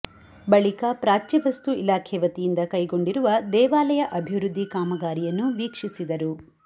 ಬಳಿಕ ಪ್ರಾಚ್ಯವಸ್ತು ಇಲಾಖೆ ವತಿಯಿಂದ ಕೈಗೊಂಡಿರುವ ದೇವಾ ಲಯ ಅಭಿವೃದ್ಧಿ ಕಾಮಗಾರಿಯನ್ನು ವೀಕ್ಷಿಸಿದರು